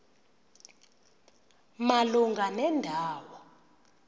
malunga nenda wo